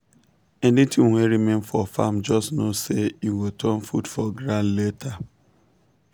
anything wey remain for farm just know say e go turn food for ground later.